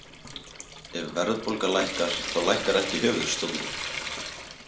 Ef verðbólga lækkar, þá lækkar ekki höfuðstóllinn.